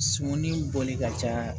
Sumani bɔli ka ca